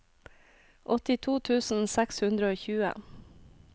åttito tusen seks hundre og tjue